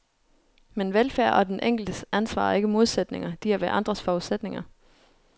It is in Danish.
Men velfærd og den enkeltes ansvar er ikke modsætninger, de er hverandres forudsætninger.